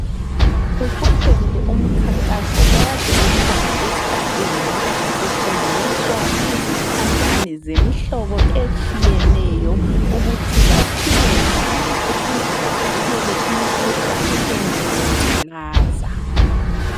Usuphelile umkhankaso okade ukhona esigabeni. Kufundiswa izithandani zemihlobo etshiyeneyo ukuthi baphile njani ukuze bavikele imkhuhlane enjengengculaza.